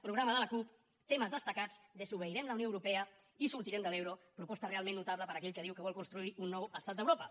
programa de la cup temes destacats desobeirem la unió europea i sortirem de l’euro proposta realment notable per a aquell que diu que vol construir un nou estat d’europa